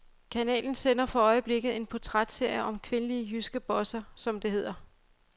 Kanalen sender for øjeblikket en portrætserie om kvindelige jyske bosser, som det hedder.